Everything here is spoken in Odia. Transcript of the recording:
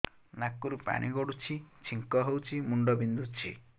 ନାକରୁ ପାଣି ଗଡୁଛି ଛିଙ୍କ ହଉଚି ମୁଣ୍ଡ ବିନ୍ଧୁଛି